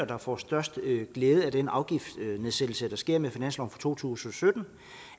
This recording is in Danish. der får størst glæde af den afgiftsnedsættelse der sker med finansloven for to tusind og sytten